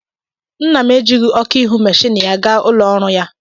Nna m ejighị ọkụ ihu meshinni ya ga ulo oru ya.